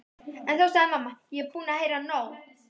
En þá sagði mamma: Ég er búin að heyra nóg!